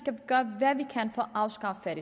at